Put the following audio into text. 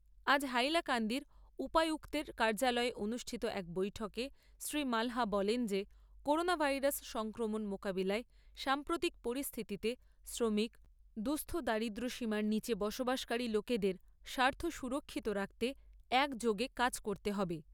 আজ হাইলাকান্দির উপায়ুক্তের কার্যালয়ে অনুষ্ঠিত এক বৈঠকে শ্রী মালহা বলেন যে করোনা ভাইরাস সংক্রমণ মোকাবিলায় সাম্প্ৰতিক পরিস্থিতিতে শ্রমিক, দুঃস্থ দারিদ্র্যসীমার নীচে বসবাসকারী লোকেদের স্বার্থ সুরক্ষিত রাখতে একযোগে কাজ করতে হবে।